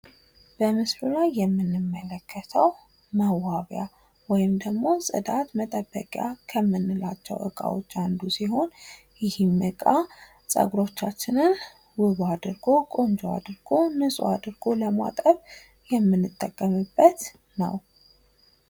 በምስሉ ላይ የምንመለከተው መዋቢያ ወይም ደግሞ ጽዳት መጠበቂያ እቃዎች ከምንላቸው እቃዎች መካከል አንዱ ሲሆን ይህም እቃ ጸጉሮቻችንን ቆንጆ አድርጎ ውብ አድርጎ ንጹሕ አድርጎ ለማጠብ የምንጠቀምበት ነው።